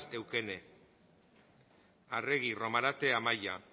eukene arregi romarate amaia